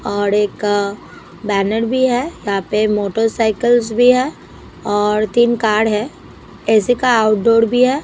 और एक बैनर भी है यहाँ पे मोटरसाइकिल्स भी है और तीन कार है ए_ सी_ का आउटडोर भी है।